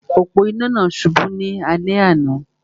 Òpó-inà náà subú ní alé àná